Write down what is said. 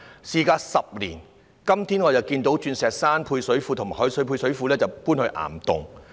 事隔10年，今天我才看到鑽石山食水及海水配水庫搬往岩洞。